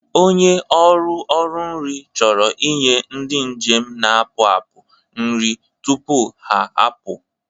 ọnye ọrụ ọrụ nri chọrọ inye ndị njem na-apụ apụ nri tupuha apụ.